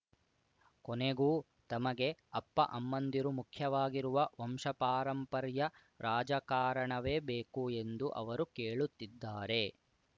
ಕೊನೆಗೂ ತಮಗೆ ಅಪ್ಪಅಮ್ಮಂದಿರು ಮುಖ್ಯವಾಗಿರುವ ವಂಶಪಾರಂಪರ್ಯ ರಾಜಕಾರಣವೇ ಬೇಕು ಎಂದು ಅವರು ಕೇಳುತ್ತಿದ್ದಾರೆ